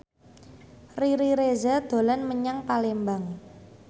Riri Reza dolan menyang Palembang